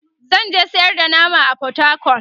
zanje sayar da nama a portacol